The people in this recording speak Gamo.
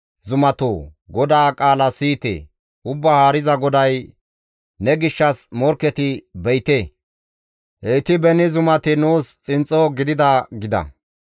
Ubbaa Haariza GODAY: ne gishshas morkketi be7ite! Heyti beni zumati nuus xinxxo gidida› gida;